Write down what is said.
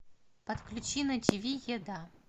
подключи на тв еда